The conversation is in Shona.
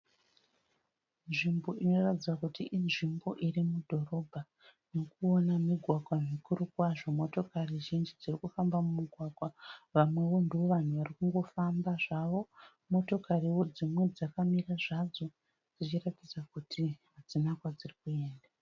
Nzvimbo inoratidza kuti inzvimbo iri mudhorobha. Ndirikuona migwagwa mikuru kwazvo. Motokari zhinji dziri kufamba mumugwagwa. Vamwewo ndivo vanhu vari kungofambawo zvavo. Motokariwo dzimwe dzakamirawo zvadzo dzichiratidza kuti hadzina kwadziri kuenda.